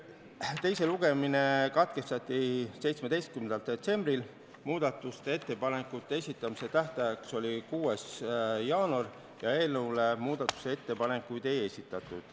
Teine lugemine katkestati 17. detsembril, muudatusettepanekute esitamise tähtajaks oli 6. jaanuar ja eelnõu kohta muudatusettepanekuid ei esitatud.